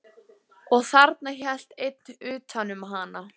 Nauðugur geng ég til þessa leiks, svaraði Marteinn.